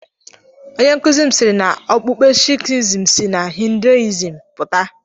Onye nkụzi siiri na okpukpe Sikhism si na Hinduism pụta.